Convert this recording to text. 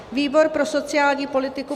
Výbor pro sociální politiku